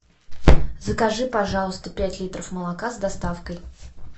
закажи пожалуйста пять литров молока с доставкой